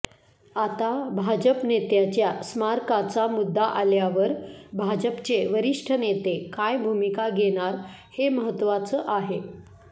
आता भाजप नेत्याच्या स्मारकाचा मुद्दा आल्यावर भाजपचे वरिष्ठ नेते काय भूमिका घेणार हे महत्त्वाचं आहे